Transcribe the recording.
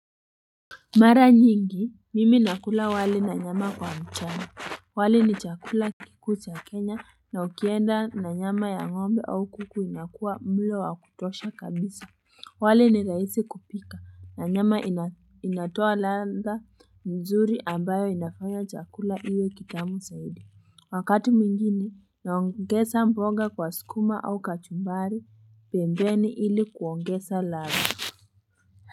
Mara nyingi mimi nakula wali na nyama kwa mchana wali ni chakula kikuu cha Kenya na ukienda na nyama ya ngombe au kuku inakuwa mlo wa kutosha kabisa wali ni rahisi kupika na nyama inatoa ladha nzuri ambayo inafanya chakula iwe kitamu saidi wakati mwingine naongesa mboga kwa sukuma au kachumbari pembeni ili kuongesa ladha.